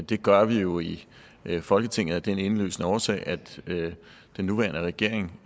det gør vi jo i folketinget af den indlysende årsag at den nuværende regering